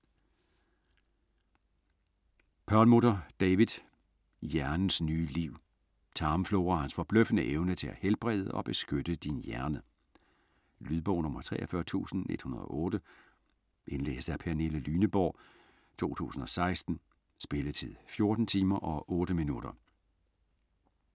Perlmutter, David: Hjernens nye liv: tarmfloraens forbløffende evne til at helbrede og beskytte din hjerne Lydbog 43108 Indlæst af Pernille Lyneborg, 2016. Spilletid: 14 timer, 8 minutter.